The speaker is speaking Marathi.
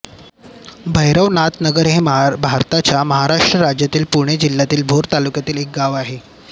भैरवनाथनगर हे भारताच्या महाराष्ट्र राज्यातील पुणे जिल्ह्यातील भोर तालुक्यातील एक गाव आहे